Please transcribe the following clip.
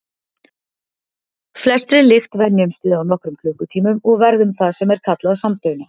Flestri lykt venjumst við á nokkrum klukkutímum og verðum það sem er kallað samdauna.